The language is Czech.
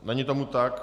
Není tomu tak.